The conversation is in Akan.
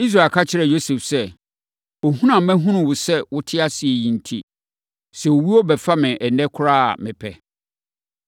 Israel ka kyerɛɛ Yosef sɛ, “Ohunu a mahunu wo sɛ wote ase yi enti, sɛ owuo bɛfa me ɛnnɛ koraa a, mepɛ.”